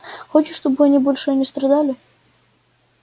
хочешь чтобы они больше не страдали